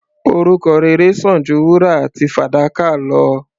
Orúkọ rere sàn ju wúrà àti fàdákà lọ.